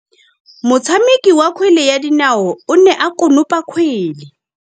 Motshameki wa kgwele ya dinaô o ne a konopa kgwele.